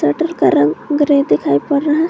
Shutter का रंग grey दिखाई पड़ रहा है।